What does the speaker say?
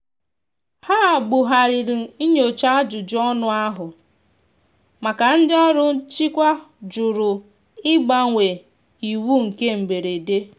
ha bu ghariri nnyocha ajụjụ ọnụ ahu maka ndi ọrụ nchịkwa jụrụ mgbanwe iwu nke mgberede.